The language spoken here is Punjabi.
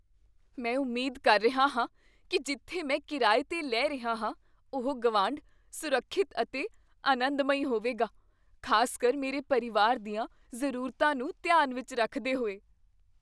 ਮੈਂ ਉਮੀਦ ਕਰ ਰਿਹਾ ਹਾਂ ਕੀ ਜਿੱਥੇ ਮੈਂ ਕਿਰਾਏ 'ਤੇ ਲੈ ਰਿਹਾ ਹਾਂ ਉਹ ਗੁਆਂਢ, ਸੁਰੱਖਿਅਤ ਅਤੇ ਆਨੰਦਮਈ ਹੋਵੇਗਾ, ਖ਼ਾਸਕਰ ਮੇਰੇ ਪਰਿਵਾਰ ਦੀਆਂ ਜ਼ਰੂਰਤਾਂ ਨੂੰ ਧਿਆਨ ਵਿੱਚ ਰੱਖਦੇ ਹੋਏ।